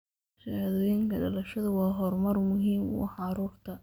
Shahaadooyinka dhalashadu waa horumar muhiim u ah carruurta.